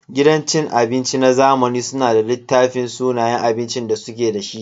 Gidan cin abinci na zamani suna da littafin sunayen abincin da suke da shi.